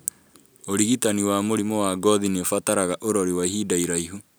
ũrigitani wa mũrimũ wa ngothi nĩũbataraga ũrori wa ihinda iraihu